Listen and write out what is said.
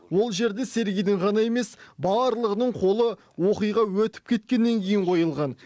ол жерде сергейдің ғана емес барлығының қолы оқиға өтіп кеткеннен кейін қойылған